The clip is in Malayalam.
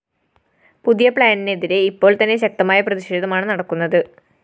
പുതിയ പ്ലാനിനെതിരെ ഇപ്പോള്‍തന്നെ ശക്തമായ പ്രതിഷേധമാണ്‌ നടക്കുന്നത്‌